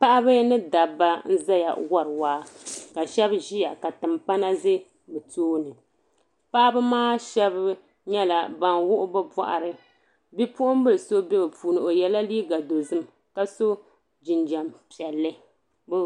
Paɣaba ni dabba n zaya wori waa ka ahɛbi ziya ka tompana zɛ bi tooni paɣaba maa shɛba yɛla bini wuɣi bi bɔɣiri bipuɣin bili so bɛɛ bi puuni o yiɛla liiga dozim ka so jinjɛm piɛli .